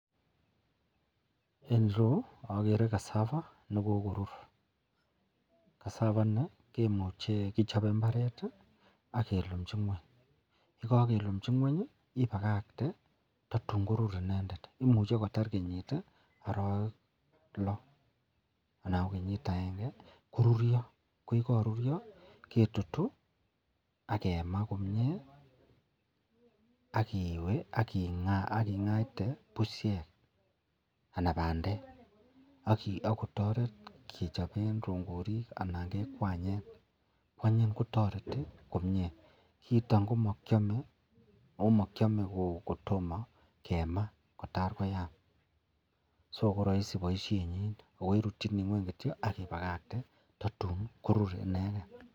En iroyu agere cassava nekokorur cassava in kemuche kechob imbaret agelumchi ngweny yekakelumji ngweny ibakakte tungorur inendet imuche kotar kenyit ak arawek lo anan ko kenyit agenge korurio akoyekarurio ketutu akema komie akiwe akingaa akoingwte bushek anan kobandek akotaret kechoben rongorik anan kekwanyen kwanyin kotareti kiiton komakiame akomakiame komakimaa Kotor koyam sonkorahisi baishenyin akoirutini ngweny akibakakte tatun korurinegen